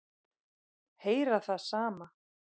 Heyra það sama.